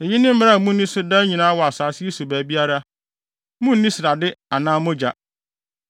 “ ‘Eyi ne mmara a munni so daa nyinaa wɔ asase yi so baabiara. Munnni srade anaa mogya.’ ”